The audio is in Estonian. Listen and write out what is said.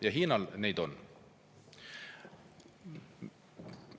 Ja Hiinal neid on.